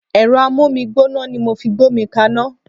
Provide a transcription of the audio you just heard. Ẹ̀rọ Ámómi gbóná ni mo fi gbómi kaná.